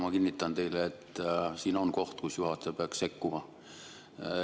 Ma kinnitan teile, et siin on koht, kus juhataja peaks sekkuma.